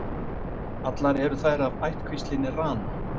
allar eru þær af ættkvíslinni rana